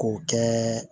K'o kɛ